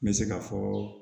N bɛ se ka fɔɔ